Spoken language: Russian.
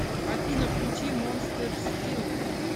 афина включи монстер скиллет